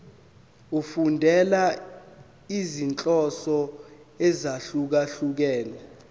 efundela izinhloso ezahlukehlukene